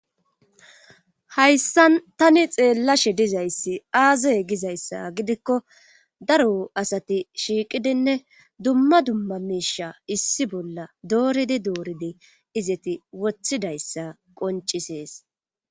Hayssan tani xeellashe dizayssi aazey gizayssa gidikko daro asati shiiqidinne dumma dumma misha issi bolla dooridi dooridi izeti wothidayssa qoncisees